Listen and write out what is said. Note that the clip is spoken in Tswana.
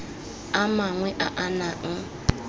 a mangwe a a nang